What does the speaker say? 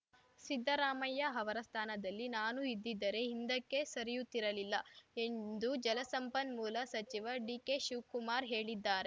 ಸಿದ್ದರಾಮಯ್ಯ ಅವರ ಸ್ಥಾನದಲ್ಲಿ ನಾನು ಇದ್ದಿದ್ದರೆ ಹಿಂದಕ್ಕೆ ಸರಿಯುತ್ತಿರಲಿಲ್ಲ ಎಂದು ಜಲಸಂಪನ್ಮೂಲ ಸಚಿವ ಡಿಕೆ ಶಿವ್ ಕುಮಾರ್‌ ಹೇಳಿದ್ದಾರ್